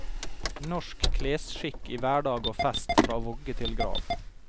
Norsk klesskikk i hverdag og fest fra vogge til grav.